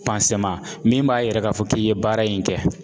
min b'a yira k'a fɔ k'i ye baara in kɛ.